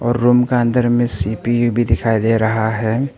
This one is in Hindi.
और रूम के अंदर में सी_पी_यू भी दिखाई दे रहा है।